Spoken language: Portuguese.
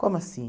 Como assim?